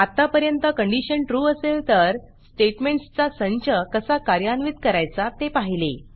आत्तापर्यंत condition true असेल तर स्टेटमेंटसचा संच कसा कार्यान्वित करायचा ते पाहिले